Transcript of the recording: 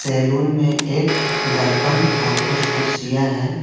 Salon में एक दर्पण और कुछ कुर्सियां हैं।